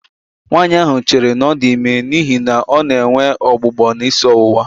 Nwaanyị ahụ chere na ọ dị ime n'ihi na ọ nọ na-enwe ọgbụgbọ na isi ọwụwa